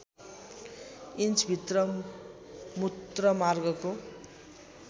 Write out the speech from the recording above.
inch भित्र मूत्रमार्गको